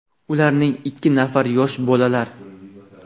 Ularning ikki nafari yosh bolalar.